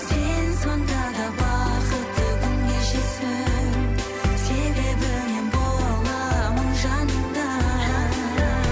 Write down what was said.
сен сонда да бақытты күн кешесің себебі мен боламын жаныңда